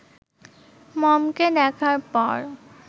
মমকে দেখার পর